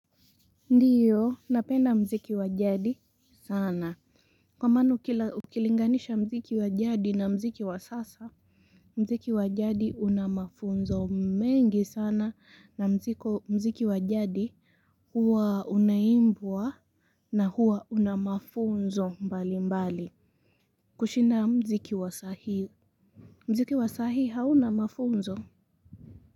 Ndiyo, napenda mziki wa jadi sana. Kwa maanu kila ukilinganisha mziki wa jadi na mziki wa sasa, mziki wa jadi una mafunzo mengi sana na mziko, mziki wa jadi huwa unaimbwa na huwa una mafunzo mbali mbali. Kushinda mziki wa sahii. Mziki wa saa hii hauna mafunzo.